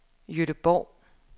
Gøteborg